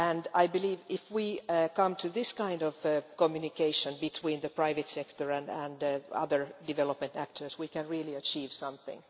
I believe that, if we come to this kind of communication between the private sector and other development actors, we can really achieve something.